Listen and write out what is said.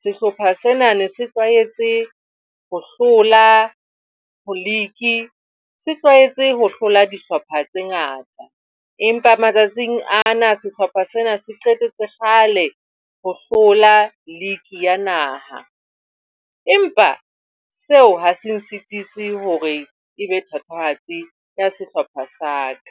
Sehlopha sena ne se tlwaetse ho hlola league, se tlwaetse ho hlola dihlopha tse ngata, empa matsatsing ana sehlopha sena se qetetse kgale ho hlola league ya naha, Empa seo ha se sitise hore ebe thatohatsi ya sehlopha sa ka.